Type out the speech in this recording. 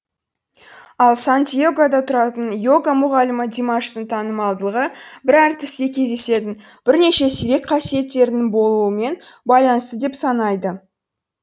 ал сан диегода тұратын йога мұғалімі димаштың танымалдығы бір әртісте кездесетін бірнеше сирек қасиеттердің болуымен байланысты деп санайды